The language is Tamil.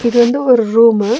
இது வந்து ஒரு ரூம்மு .